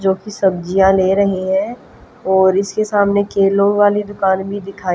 जो कि सब्जियां ले रही हैं और इसके सामने केलों वाली दुकान भी दिखाई--